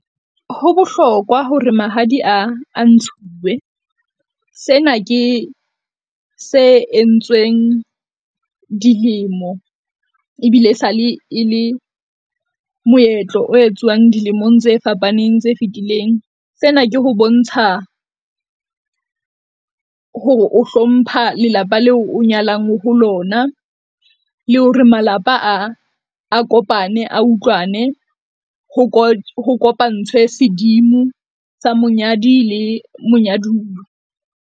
Ho bohlokwa hore mahadi a, a ntshuwe. Sena ke se entsweng dilemo ebile e sale e le moetlo o etsuwang dilemong tse fapaneng tse fitileng. Sena ke ho bontsha hore o hlompha lelapa leo o nyalang ho lona, le hore malapa a, a kopane. A utlwane ho ho kopantshwe, sedimo sa monyadi le monyaduwa.